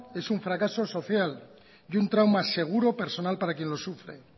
es un fracaso social y un trauma seguro personal para quien lo sufre